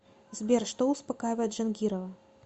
сбер что успокаивает джангирова